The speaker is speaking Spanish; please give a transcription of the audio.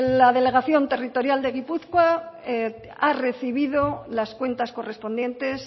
la delegación territorial de gipuzkoa ha recibido las cuentas correspondientes